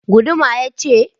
Guduma ja ce?